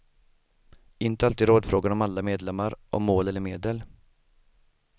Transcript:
Inte alltid rådfrågar de alla medlemmar om mål eller medel.